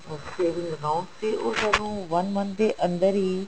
ਤੇ ਉਸ ਨੂੰ one month ਦੇ ਅੰਦਰ ਹੀ